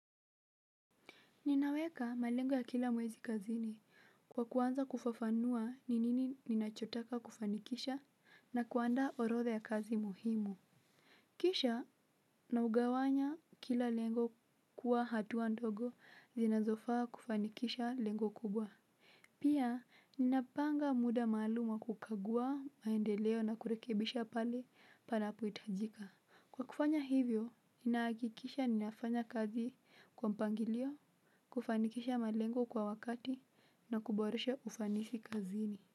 Ninaweka malengo ya kila mwezi kazini kwa kuanza kufafanua ni nini ninachotaka kufanikisha na kuandaa orodha ya kazi muhimu kisha naugawanya kila lengo kuwa hatuwa ndogo zinazofaa kufanikisha lengo kubwa. Pia ninapanga muda maaluma wa kukagua maendeleo na kurekebisha pale panapohitajika. Kwa kufanya hivyo, ninahakikisha ninafanya kazi kwa mpangilio, kufanikisha malengo kwa wakati, na kuboreshe ufanisi kazini.